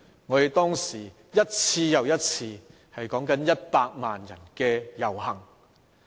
我們當時舉行了一次又一次有多達100萬人參與的遊行。